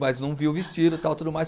Mas não vi o vestido e tal, tudo mais.